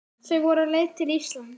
Þau voru á leið til Íslands.